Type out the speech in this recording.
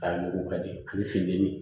A mugu ka di u fin te min ye